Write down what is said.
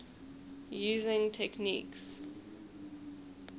using techniques